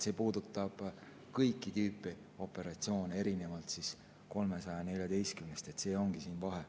See puudutab kõiki tüüpi operatsioone, erinevalt 314‑st. See ongi vahe.